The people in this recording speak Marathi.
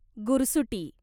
गुरसुटी